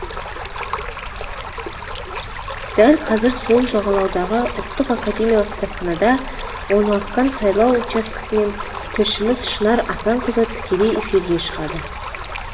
дәл қазір сол жағалаудағы ұлттық академиялық кітапханада орналасқан сайлау учаскесінен тілшіміз шынар асанқызы тікелей эфирге шығады